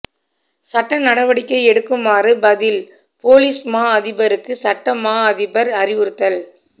சட்ட நடவடிக்கை எடுக்குமாறு பதில் பொலிஸ் மாஅதிபருக்கு சட்ட மாஅதிபர் அறிவுறுத்தல்